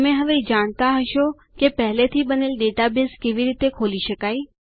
તમે હવે જાણતા હશો કે પેહલે થી બનેલ ડેટાબેઝ કેવી રીતે ખોલી શકાય